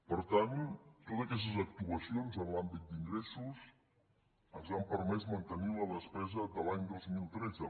per tant totes aquestes actuacions en l’àmbit d’ingressos ens han permès mantenir la despesa de l’any dos mil tretze